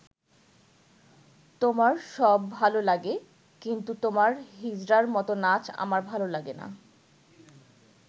তোমার সব ভালো লাগে, কিন্তু তোমার হিজড়ার মতো নাচ আমার ভালো লাগে না'।